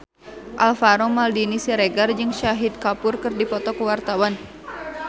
Alvaro Maldini Siregar jeung Shahid Kapoor keur dipoto ku wartawan